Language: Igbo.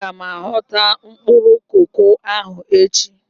Aga m ahọtu mkpụrụ koko ahụ echi.